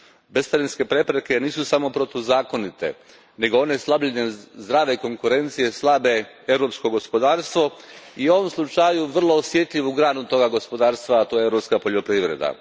Bescarinske prepreke nisu samo protuzakonite nego one slabljenjem zdrave konkurencije slabe europsko gospodarstvo i u ovom slučaju vrlo osjetljivu granu toga gospodarstva, a to je europska poljoprivreda.